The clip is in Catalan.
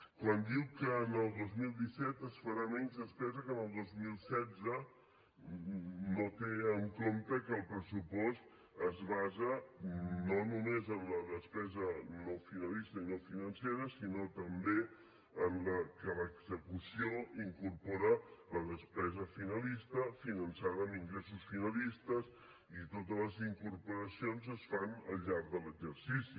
quan diu que el dos mil disset es farà menys despesa que el dos mil setze no té en compte que el pressupost es basa no només en la despesa no finalista i no financera sinó també que l’execució incorpora la despesa finalista finançada amb ingressos finalistes i totes les incorporacions es fan al llarg de l’exercici